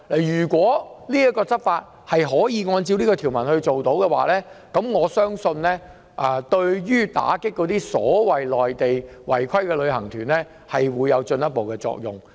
如可根據這項條文執法，我相信對打擊內地違規旅行團，將會起進一步作用。